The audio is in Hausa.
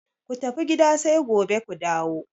Ku tafi gida sai gobe ku dawo!